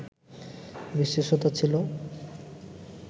বিশেষতা ছিল